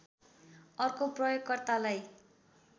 अर्को प्रयोकर्तालाई